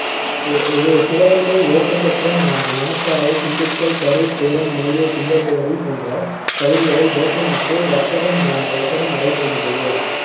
அஹ் இது சிவகங்கை, ஓட்டன்சத்திரம், மணப்பாறை, திண்டுக்கல், கரூர், சேலம், மேலூர், சிங்கம்புனரி போன்ற பகுதிகளில் வேப்பமுத்து வர்த்தகம் ந~ வர்த்தகம் நடைபெறுகின்றது